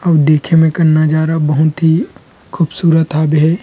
अऊ देखे में नज़ारा बहुत ही खूबसूरत हावे हे।